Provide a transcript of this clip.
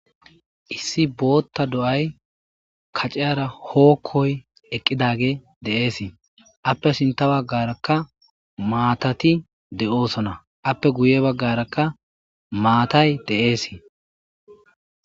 Issi bootta do,ay kaceyara hookkoy eqqidage de,eesii appe sinta baggarakka maatati de'oosona appe guye baggarakka maatay de7eesii.